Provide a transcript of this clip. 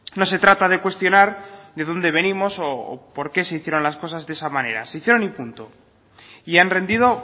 no se trata de cuestionar de dónde venimos o por qué se hicieron las cosas de esa manera se hicieron y punto y han rendido